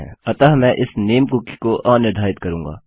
अतः मैं इस नामे कुकी को अनिर्धारित करूँगा